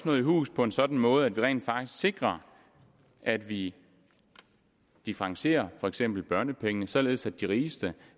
nået i hus på en sådan måde at vi rent faktisk sikrer at vi differentierer for eksempel børnepenge således at de rigeste